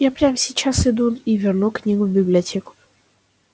я прямо сейчас иду и верну книгу в библиотеку